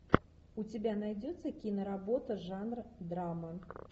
у тебя найдется киноработа жанр драма